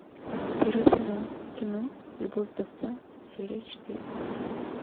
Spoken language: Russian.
первый сезон кино любовь вдовца серия четыре